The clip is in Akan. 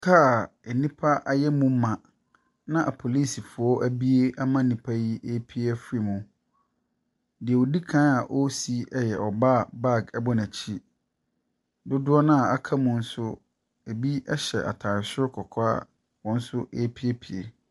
Car nnipa ayɛ mu ma a apolisifoɔ abue ama nnipa yi apue afiri mu. Deɛ ɔdikan a ɔresi yɛ ɔbaa bag bɔ n'akyi. Dodoɔ noa aka mu nso ebi nso hyɛ ataade soro kɔkɔɔ a wɔn nso epuepue.